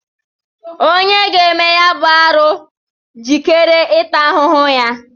Onye ga-eme ya bụ arụ jikere ịta ahụhụ ya